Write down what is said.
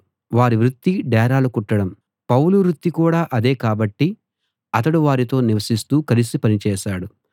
వారి వృత్తి డేరాలు కుట్టడం పౌలు వృత్తి కూడా అదే కాబట్టి అతడు వారితో నివసిస్తూ కలిసి పని చేశాడు